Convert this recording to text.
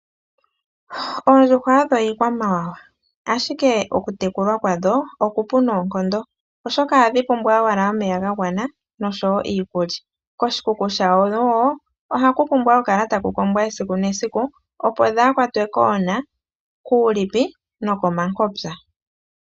Oondjuhwa odho iikwamawawa ashike okutekulwa kwadho okupu noonkondo oshoka ohadhi pumbwa owala omeya ga gwana nosho woo iikulya, koshikuku shadho woo ohaku pumbwa oku kala taku kombwa esiku nesiku opo dhaakwatwe koona, kuulipi nokomankopya.